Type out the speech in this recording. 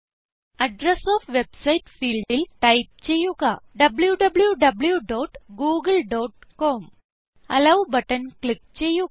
address of website ഫീൽഡിൽ type ചെയ്യുക w w w dot Google dot com allow button click ചെയ്യുക